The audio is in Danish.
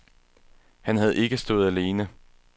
Han havde ikke stået alene.